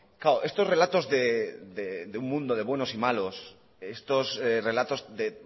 claro estos relatos de un mundo de buenos y malos estos relatos de